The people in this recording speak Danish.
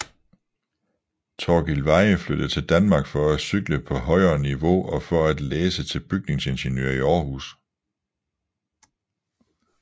Torkil Veyhe flyttede til Danmark for at cykle på højere niveau og for at læse til bygningsingeniør i Århus